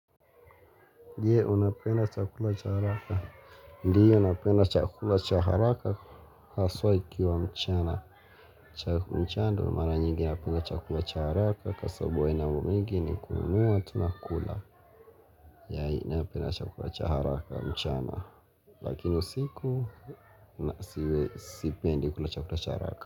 Ndiyo napenda chakula cha haraka Ndiyo napenda chakula cha haraka haswa ikiwa mchana mchana ndo mara nyingi napenda chakula cha haraka, Kwa sababu haina mambo mingi ni kununua tu na kukula. Yaani napenda chakula cha haraka mchana Lakini usiku sipendi kula chakula cha haraka.